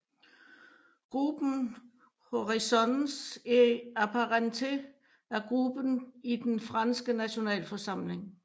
Groupe Horizons et apparentés er gruppe i den franske Nationalforsamling